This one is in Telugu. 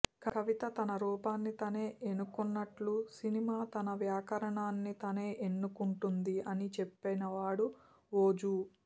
కవిత తన రూపాన్ని తానే ఎనుకున్నట్టు సినిమా తన వ్యాకరణాన్ని తానే ఎన్నుకుంటుంది అని చెప్పినవాడు ఓజు